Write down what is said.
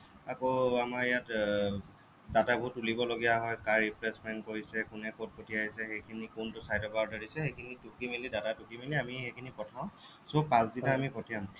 আকৌ আমাৰ ইয়াত এৰ data বোৰ তুলিব লগিয়া হ'য় কাৰ replacement পৰিছে কোনে ক'ত পঠিয়াইছে সেইখিনি কোনটো side ৰ পৰা order দিছে সেইখিনি টুকি মেলি data টুকি মেলি আমি সেইখিনি পঠাও so পাছদিনা আমি পঠিয়াম